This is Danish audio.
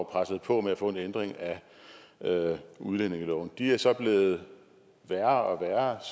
pressede på med at få en ændring af udlændingeloven de er så blevet værre